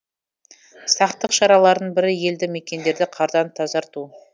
сақтық шараларының бірі елді мекендерді қардан тазарту